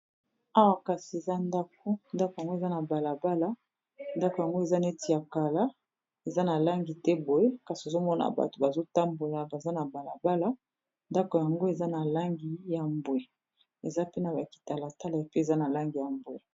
Awa kasi eza ndako ndako yango eza na balabala ndako yango eza neti ya kala eza na langi te boye kasi ozomona bato bazotambola baza na balabala ndako yango eza na langi ya mbwe eza pe na bakitala tala epe eza na langi ya mbwe